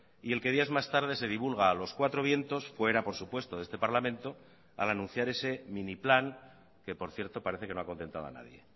y el que días más tarde se divulga a los cuatro vientos fuera por supuesto de este parlamento al anunciar ese mini plan que por cierto parece que no ha contentado a nadie